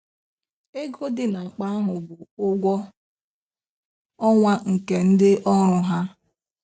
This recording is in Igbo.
Ego dị n'akpa ahụ bụ ụgwọ ọnwa nke ndị ọrụ ha.